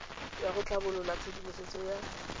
ya go tlhabolola tshedimosetso ya